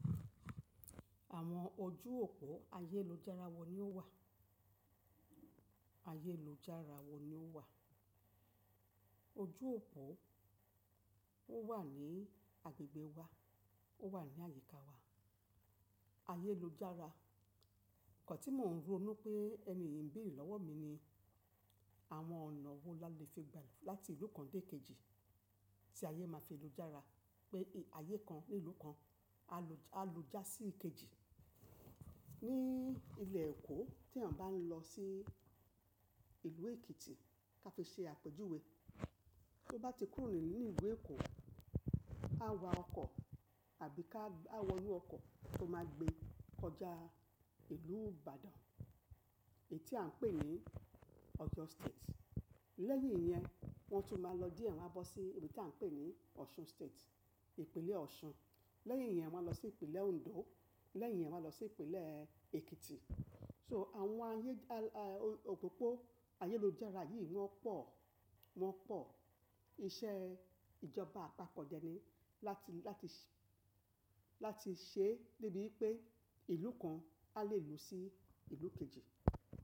Àwọn ojú òpó ayélujára wo ni ó wà? Ayélujára wo ni ó wà? Ojú òpó ó wà ní agbègbè wa, ó wà ní àyíká wa. Ayélujára, ǹkan tí mò ń ro nu pé ẹni yì ń béèrè lọ́wọ́ mi ni àwọn ọ̀nà wo la le fi gbà láti ìlú kan dé kejì tí ayé máa fi lujára. Pé ayé kan ní ìlú kan a lu já sí ìkejì. Ní ilẹ̀ Èkó tí èeyàn bá ń lọ sí ìlú Èkìtì ká fi ṣe àpèjúwe. Bí ó bá ti kúrò ní ìlú Èkó, ká wa ọkọ̀ tàbí ká á wọnú ọkọ̀ tó máa gbé kọjá ìlú Ìbàdàn, èyí tí à ń pè ní Oyo State. Lẹ́yìn iyẹn wọ́n tún máa lọ díẹ̀ wọ́n á bọ́ sí ibi tí à ń pè ní Osun State, ìpínlẹ̀ Ọ̀ṣun. Leyin iyen, won a lo si ipinle Ondo. Leyin iyen, won a lo si ipinle Ekiti So àwọn ayé ọ̀pópó ayélujára yìí wọ́n pọ̀, wọ́n pọ̀. Iṣẹ́ ìjọba àpapọ̀ dẹ ni láti, láti ṣe, láti ṣe débi wípé ìlú kan a lè lọ sí ìlú kejì.